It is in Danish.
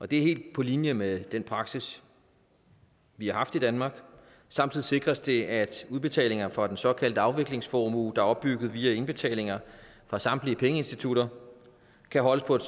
det er helt på linje med den praksis vi har haft i danmark samtidig sikres det at udbetalinger fra den såkaldte afviklingsformue der er opbygget via indbetalinger fra samtlige pengeinstitutter kan holdes på et